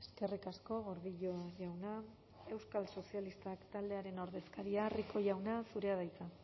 eskerrik asko gordillo jauna euskal sozialistak taldearen ordezkaria rico jauna zurea da hitza